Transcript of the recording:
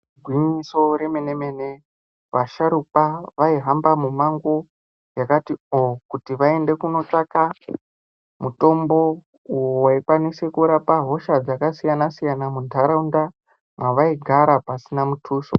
Igwinyiso remene mene vasharukwa vaihamba mumango yakati oo kuti vaende kundotsvaka mutombo waikwanisa kurapa hosha dzakasiyana siyana muntaraunda mwavaigara pasina muthuso.